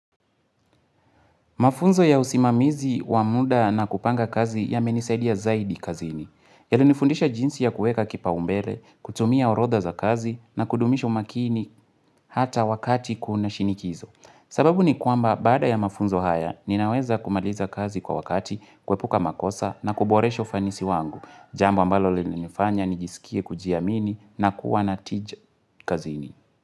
Mafunzo ya usimamizi wamuda na kupanga kazi ya menisaidi ya zaidi kazini. Yali nifundisha jinsi ya kueka kipa umbele, kutumia orodha za kazi, na kudumisha umakini hata wakati kuna shinikizo. Sababu ni kuamba baada ya mafunzo haya, ninaweza kumaliza kazi kwa wakati, kwepuka makosa, na kuboresha ufanisi wangu. Jambo ambalo li nifanya, nijisikie kujiamini, na kuwa natija kazini.